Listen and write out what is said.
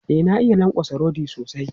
E, na iya lankwatsa rodi sosai.